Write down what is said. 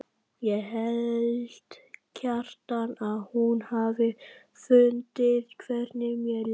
Ég held, Kjartan, að hún hafi fundið hvernig mér leið.